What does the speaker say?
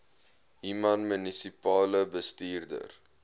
human munisipale bestuurder